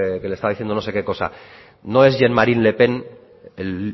que le estaba diciendo no sé qué cosa no es jean marie le pen el